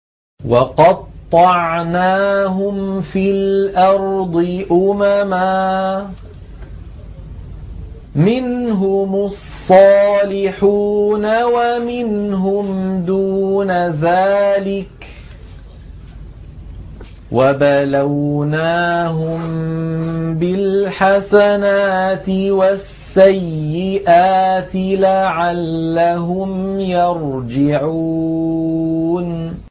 وَقَطَّعْنَاهُمْ فِي الْأَرْضِ أُمَمًا ۖ مِّنْهُمُ الصَّالِحُونَ وَمِنْهُمْ دُونَ ذَٰلِكَ ۖ وَبَلَوْنَاهُم بِالْحَسَنَاتِ وَالسَّيِّئَاتِ لَعَلَّهُمْ يَرْجِعُونَ